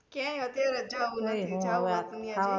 ક્યાય અત્યારે જાવુ નાહી